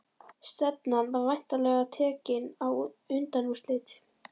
Stefnan væntanlega tekin á undanúrslit?